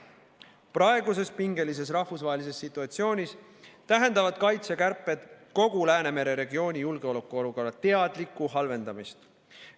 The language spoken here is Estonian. Praeguses pingelises rahvusvahelises situatsioonis tähendavad kaitsekärped kogu Läänemere regiooni julgeolekuolukorra teadlikku halvendamist.